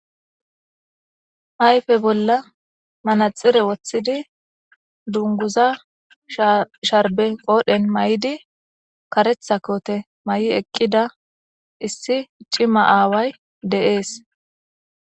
Ayfe bolla manaxire wothidi dunguza sharbe qoodhen mayidi karetha koote mayi eqida issi cima aaway de'es.